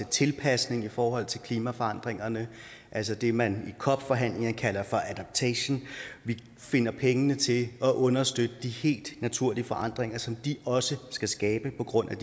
tilpasning i forhold til klimaforandringerne altså det man i cop forhandlingerne kalder adaptation vi finder pengene til at understøtte de helt naturlige forandringer som de også skal skabe på grund af